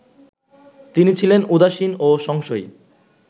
তিনি ছিলেন উদাসীন ও সংশয়ী